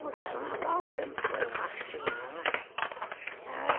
No Carnaval sempre foi o marchinha, não é?